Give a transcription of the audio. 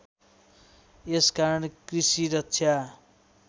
यस कारण कृषि रक्षा